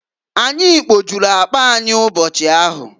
Anyị kpojulu akpa anyị ụbochi ahụ.